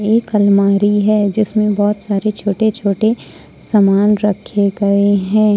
एक अलमारी है जिसमें बहुत सारे छोटे छोटे सामान रखे गए हैं।